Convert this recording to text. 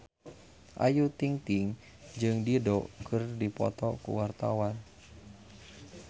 Ayu Ting-ting jeung Dido keur dipoto ku wartawan